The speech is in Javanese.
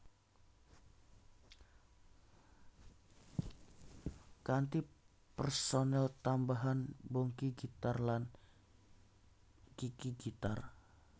Kanthi personel tambahan Bongky gitar lan Kiki gitar